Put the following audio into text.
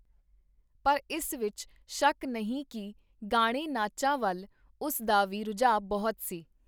ਪਰ ਇਸ ਵਿਚ ਸ਼ੱਕ ਨਹੀਂ ਕੀ ਗਾਣੇਨਾਚਾਂ ਵਲ ਉਸ ਦਾ ਵੀ ਰਜੂਅ ਬਹੁਤ ਸੀ.